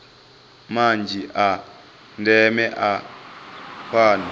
manzhi a ndeme a fanaho